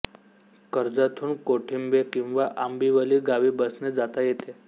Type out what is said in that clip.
कर्जतहून कोठिंबे किंवा आंबिवली गावी बसने जाता येते